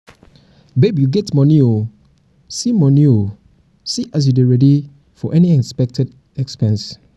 babe you get money oo see money oo see as you dey ready for any unexpected expense